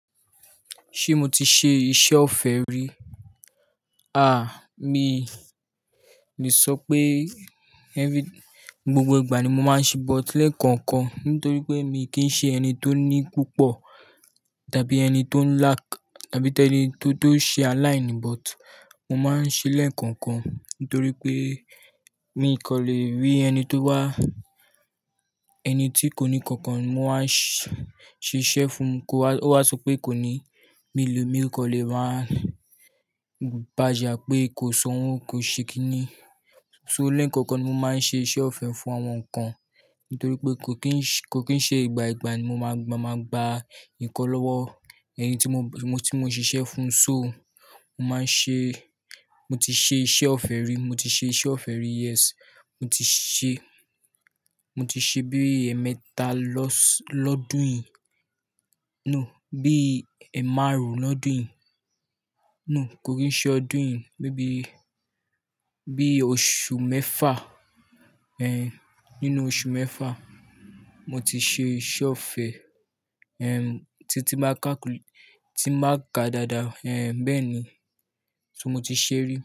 Ṣé mo ti ṣe iṣẹ́ ọ̀fẹ́ rí? À, mi le sọ pé every-- gbogbo ìgbà ni mo máa ń ṣe but lẹ́ẹ̀kọ̀ọ̀kan nítorí pé mi kì í ṣe ẹni tó ní púpọ̀ tàbí ẹni tó ń lack tàbí tẹ́ ẹni tí ó ń ṣe align but mo máa ń ṣe lẹ́ẹ̀kọ̀ọ̀kan nítorí pé mi kò le rí ẹni tó wá, ẹni tí kò ní kankan mo n wa ṣiṣẹ́ fún un kó wá o wa sọ pé kò ní, mi lè, mi kò lè máa bàja pé kò sọ́hun, kò ṣe kín ní. So lẹ́ẹ̀kọ̀ọ̀kan ni mo máa ń ṣe iṣẹ́ ọ̀fẹ́ fún àwọn nkan nítorí pé kò kín ṣe, kò kín ṣe ìgbà ìgbà ni mo máa gbà ìkọ́lọ́wọ́ ẹyin tí mo, tí mo ṣiṣẹ́ fún un. So mo máa ń ṣe, mo ti ṣe iṣẹ́ ọ̀fẹ́ rí, mo ti ṣe iṣẹ́ ọ̀fẹ́ rí yes. Mo ti ṣe, mo ti ṣe bí ẹ̀ẹ̀mẹta lọ́dún yìí. No, bí ẹ̀ márùn-ún lọ́dún yìí. No, kò rí i ṣe ọdún yìí, maybe bí i oṣù mẹ́fà. Eh, nínú oṣù mẹ́fà, mo ti ṣe iṣẹ́ ọ̀fẹ́. Eh, tí n ba ká kul-- tí màá ka dáadáa, eh, bẹ́ẹ̀ ni. So mo ti ṣe rí.